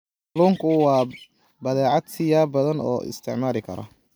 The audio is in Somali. Kalluunku waa badeecad siyaabo badan loo isticmaali karo.